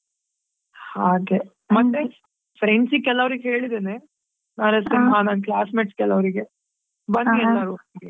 ಹಾಗೆ ಮತ್ತೆ friends ಗೆ ಕೆಲವ್ರಿಗೆ ಹೇಳಿದ್ದೇನೆ ನರಸಿಂಹ ನನ್ classmates ಕೆಲವ್ರಿಗೆ ಬನ್ನಿ ಎಲಾರು ಒಟ್ಗೆ.